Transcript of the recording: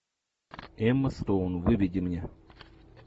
эмма стоун выведи мне